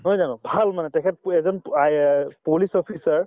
নহয় জানো ভাল মানে তেখেতটো এজন so IS police officer